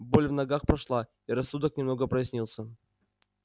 боль в ногах прошла и рассудок немного прояснился